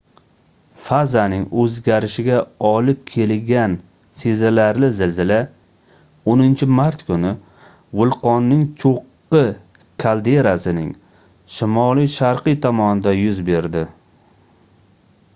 fazaning oʻzgarishiga olib keligan sezilarli zilzila 10-mart kuni vulqonning choʻqqi kalderasining shimoliy-sharqiy tomonida yuz berdi